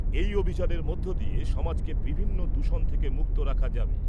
এই অভিযানের মধ্যে দিয়ে সমাজকে বিভিন্ন দূষণ থেকে মুক্ত রাখা যাবে।